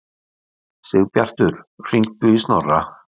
Sigbjartur, hringdu í Snorra.